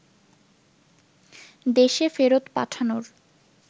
দেশে ফেরত পাঠানোর